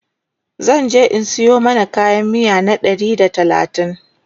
zanje in Sayo mana kayan miya na Ɗari da talatin